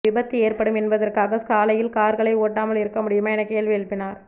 விபத்து ஏற்படும் என்பதற்காக சாலையில் கார்களை ஓட்டாமல் இருக்க முடியுமா என கேள்வி எழுப்பினார்